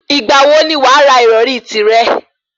Ìgbà wo ni wàá ra ìrọrí tìrẹ?